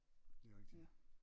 Det er rigtigt